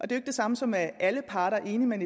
det samme som at alle parter er enige men